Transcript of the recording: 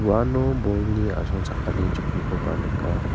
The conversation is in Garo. uano bolni asongchakani chokkikoba nika.